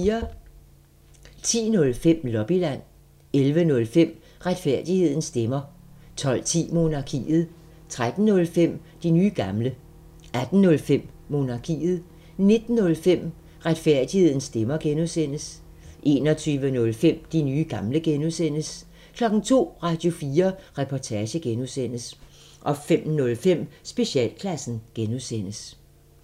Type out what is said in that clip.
10:05: Lobbyland 11:05: Retfærdighedens stemmer 12:10: Monarkiet 13:05: De nye gamle 18:05: Monarkiet 19:05: Retfærdighedens stemmer (G) 21:05: De nye gamle (G) 02:00: Radio4 Reportage (G) 05:05: Specialklassen (G)